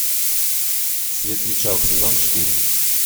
светлячок сезон четыре